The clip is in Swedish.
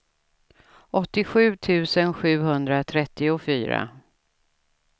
åttiosju tusen sjuhundratrettiofyra